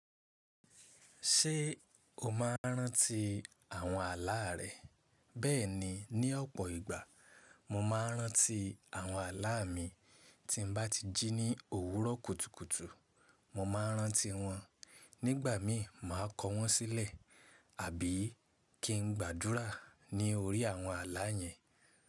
Ṣé o máa ń rántí àwọn àlá rẹ? Bẹ́ẹ̀ni, ní ọ̀pọ̀ ìgbà mo máa rántí àwọn àlá mi. Tí n bá ti jí ní òwúrọ̀ kùtùkùtù, mo máa ń rántí wọn. Nígbà mi máa kọ wọ́n sílẹ̀ àbí kí n gbàdúrà ní orí àwọn àlá yẹn.